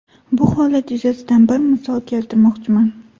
Bu holat yuzasidan bir misol keltirmoqchiman.